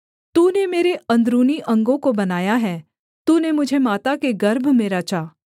तूने मेरे अंदरूनी अंगों को बनाया है तूने मुझे माता के गर्भ में रचा